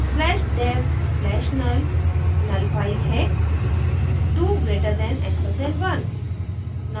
slash dev slash null null file है 2> & 1 2 greater than ampersand 1